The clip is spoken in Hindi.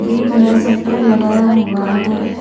गेट में सट्टर लगाया हुआ है।